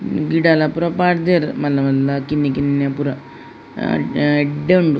ಗಿಡ ಲ ಪೂರ ಪಾಡ್ದೆರ್ ಮಲ್ಲ ಮಲ್ಲ ಕಿನ್ನಿ ಕಿನ್ನಿ ಪೂರ ಹ ಹಾ ಎಡ್ಡೆ ಉಂಡು.